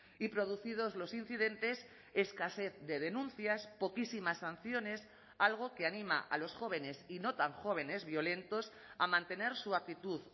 y producidos los incidentes escasez de denuncias poquísimas sanciones algo que anima a los jóvenes y no tan jóvenes violentos a mantener su actitud